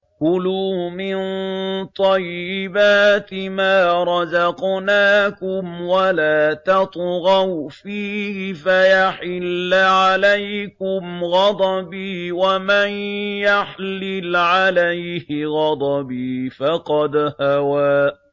كُلُوا مِن طَيِّبَاتِ مَا رَزَقْنَاكُمْ وَلَا تَطْغَوْا فِيهِ فَيَحِلَّ عَلَيْكُمْ غَضَبِي ۖ وَمَن يَحْلِلْ عَلَيْهِ غَضَبِي فَقَدْ هَوَىٰ